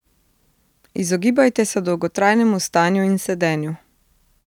Izogibajte se dolgotrajnemu stanju in sedenju.